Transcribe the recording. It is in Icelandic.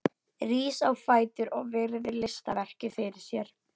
Rís á fætur og virðir listaverkið fyrir sér.